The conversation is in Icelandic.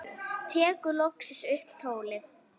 Tekur loksins upp tólið.